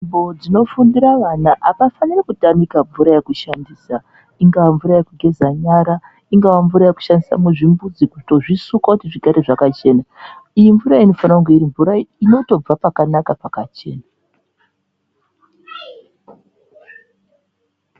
Nzvimbo dzinofundira vana hapafaniri kutamika mvura yekushandisa ingaa mvuraa yekugeza nyara ,ingaa mvura yekushandisa muzvimbuzi kutozvisuka kuti zvigare zvakachena iyi mvura iyi inofanire kunge iri mvura inotobva pakanaka pakachena.